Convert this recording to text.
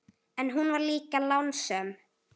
En hún var líka lánsöm.